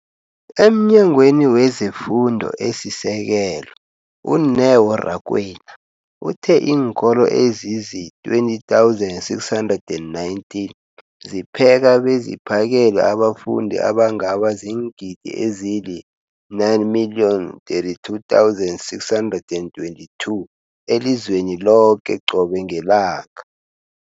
EmNyangweni wezeFundo esiSekelo, u-Neo Rakwena, uthe iinkolo ezizi-20 619 zipheka beziphakele abafundi abangaba ziingidi ezili-9 032 622 elizweni loke qobe ngelanga.